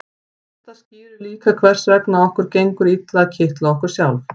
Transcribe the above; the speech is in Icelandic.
þetta skýrir líka hvers vegna okkur gengur illa að kitla okkur sjálf